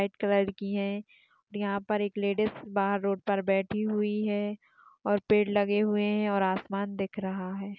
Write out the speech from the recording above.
एक लडकी है। यहा पर एक लेडीस बाहर रोड पर बैठी हुई है। और पेड़ लगे हुए है। और आसमान दिख रहा है।